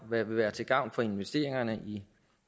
vil være til gavn for investeringerne